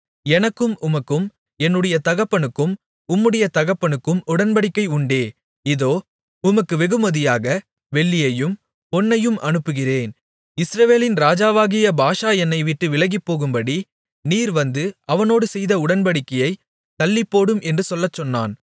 எனக்கும் உமக்கும் என்னுடைய தகப்பனுக்கும் உம்முடைய தகப்பனுக்கும் உடன்படிக்கை உண்டே இதோ உமக்கு வெகுமதியாக வெள்ளியையும் பொன்னையும் அனுப்புகிறேன் இஸ்ரவேலின் ராஜாவாகிய பாஷா என்னைவிட்டு விலகிப்போகும்படி நீர் வந்து அவனோடு செய்த உடன்படிக்கையைத் தள்ளிப்போடும் என்று சொல்லச்சொன்னான்